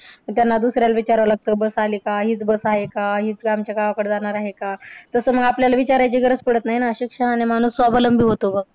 त्यांना दुसऱ्याला विचारावं लागतं बस आली का? हिचं बस आहे का? हिचं आमच्या गावाकडे जाणार आहे का? तसं मग आपल्याला विचारायची गरज पडत नाही ना. शिक्षणाने माणूस स्वावलंबी होतो.